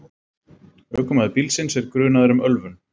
Ökumaður bílsins er grunaður um ölvun